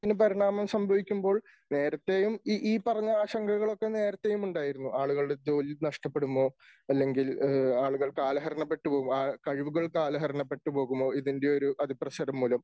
പരിണാമം സംഭവിക്കുമ്പോൾ നേരത്തെയും ഈ ഈ പറഞ്ഞ ആശങ്കകളൊക്കെ നേരത്തേയും ഉണ്ടായിരുന്നു. ആളുകളുടെ ജോലി നഷ്ടപ്പെടുമോ, അല്ലെങ്കിൽ ആളുകൾ കാലഹരണപ്പെട്ടു പോകും കഴിവുകൾ കാലഹരണപ്പെട്ട് പോകുമോ? ഇതിന്റെ ഒരു അതിപ്രസരംമൂലം.